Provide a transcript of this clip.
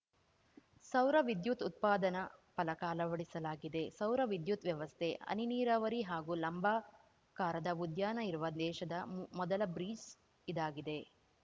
ಸೌರ ವಿದ್ಯುತ್‌ ಉತ್ಪಾದನಾ ಫಲಕ ಅಳವಡಿಸಲಾಗಿದೆ ಸೌರ ವಿದ್ಯುತ್‌ ವ್ಯವಸ್ಥೆ ಹನಿ ನೀರಾವರಿ ಹಾಗೂ ಲಂಬಾಕಾರದ ಉದ್ಯಾನ ಇರುವ ದೇಶದ ಮೊದಲ ಬ್ರಿಜ್‌ ಇದಾಗಿದೆ